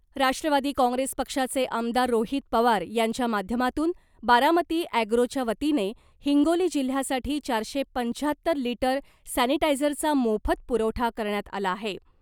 Rashtrawadi Congress पक्षाचे आमदार रोहित पवार यांच्या माध्यमातून बारामती ॲग्रोच्या वतीने हिंगोली जिल्ह्यासाठी चारशे पंच्याहत्तर लिटर सॅनिटायझरचा मोफत पुरवठा करण्यात आला आहे .